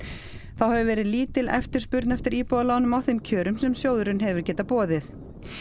þá hefur verið lítil eftirspurn eftir íbúðalánum á þeim kjörum sem sjóðurinn hefur getað boðið